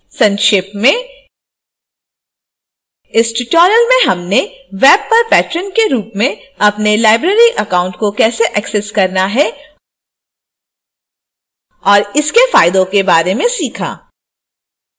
संक्षेप में